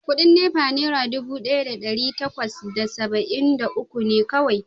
Kudin NEPA Naira dubu daya da dari bakwai da saba’in da uku ne kawai